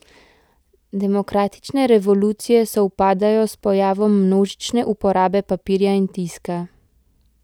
Demokratične revolucije sovpadajo s pojavom množične uporabe papirja in tiska.